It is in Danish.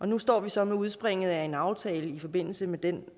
nu står vi så med udspringet af en aftale i forbindelse med den